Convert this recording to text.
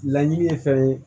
Laɲini ye fɛn ye